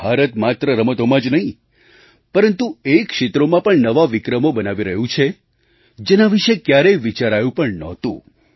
ભારત માત્ર રમતોમાં જ નહીં પરંતુ એ ક્ષેત્રોમાં પણ નવા વિક્રમો બનાવી રહ્યું છે જેના વિશે ક્યારેય વિચારાયું પણ નહોતું